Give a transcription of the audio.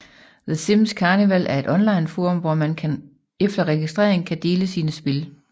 The Sims Carnival er et onlineforum hvor man efter registrering kan dele sine spil